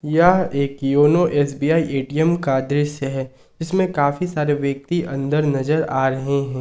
यह एक YONO SBI ATM का दृश्य है इसमें काफी सारे व्यक्ति अंदर नजर आ रहे हैं।